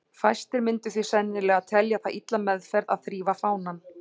Fæstir myndu því sennilega telja það illa meðferð að þrífa fánann.